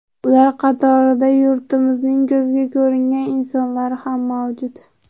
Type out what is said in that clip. Ular qatorida yurtimizning ko‘zga ko‘ringan insonlari ham mavjud.